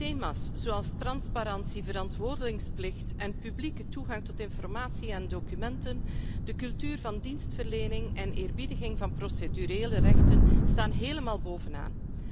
Thema's zoals transparantie, verantwoordingsplicht en publieke toegang tot informatie en documenten, de cultuur van dienstverlening en eerbiediging van procedurele rechten staan helemaal bovenaan.